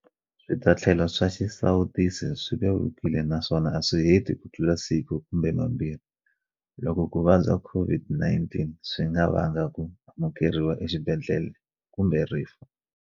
Switatlhelo swa xisawutisi swi vevukile naswona a swi heti kutlula siku kumbe mambirhi, loko ku vabya COVID-19 swi nga vanga ku amukeriwa exibedhlele kumbe rifu.